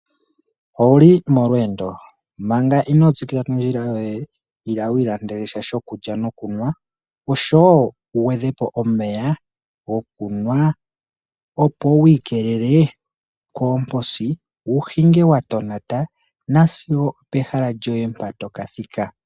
Owuli molweendo? Manga ino tsikila nondjila yoye Ila wi ilandele sha shokulya nokunwa oshowo wu gwedhepo omeya gokunwa. Opo wi ikelele koomposi wu hinge wa tonata nasigo opehala lyoye mpa toka thika.